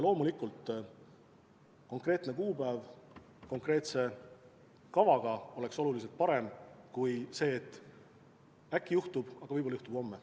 Loomulikult, konkreetne kuupäev konkreetse kavaga oleks oluliselt parem kui kahtlus, et äkki see juhtub homme.